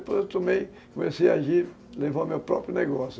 Depois eu tomei, comecei a agir, levar o meu próprio negócio.